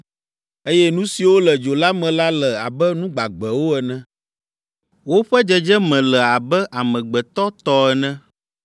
eye nu siwo le dzo la me la le abe nu gbagbewo ene. Woƒe dzedzeme le abe amegbetɔ tɔ ene,